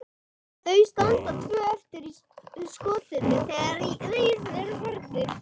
Þau standa tvö eftir í skotinu þegar þeir eru farnir.